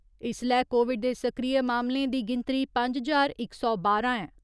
इस्सलै कोविड दे सक्रिय मामलें दी गिनतरी पंज ज्हार इक सौ बारां ऐ।